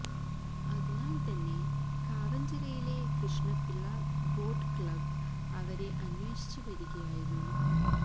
അതിനാല് തന്നെ കാവന്ചിറയിലെ കൃഷ്ണപിള്ള ബോട്ട് ക്ലബ് അവരെ അന്വേഷിച്ചു വരികയായിരുന്നു